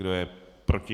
Kdo je proti?